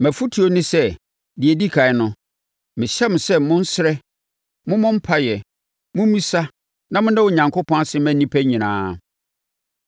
Mʼafotuo ne sɛ, deɛ ɛdi ɛkan no, mehyɛ mo sɛ monsrɛ, mommɔ mpaeɛ, mommisa na monna Onyankopɔn ase mma nnipa nyinaa;